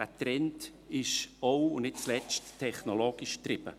Dieser Trend ist auch, und nicht zuletzt, technologisch getrieben.